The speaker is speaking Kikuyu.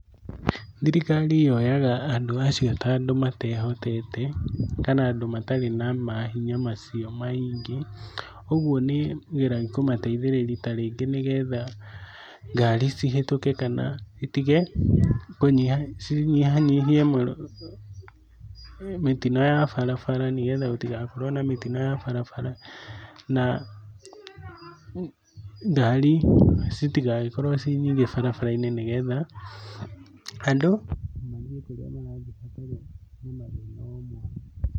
Thirikari yoyaga andũ acio ta andũ matehotete, kana andũ matarĩ na mahinya macio maingĩ, ũguo nĩ ĩgeragia kũmateithĩrĩria ta rĩngĩ nĩgetha ngari cihĩtũke kana itige kũnyiha, cinyihanyihie mĩtino ya barabara nĩgetha gũtigakorwo na mĩtino ya barabara, na ngari citigagĩkorwo ciĩ nyingĩ barabara-inĩ nĩ getha andũ mathiĩ kũrĩa marathi matarĩ na mathĩna o mothe.